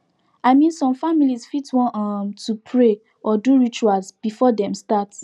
i min som familiz fit wan um to pray or do rituals before dem start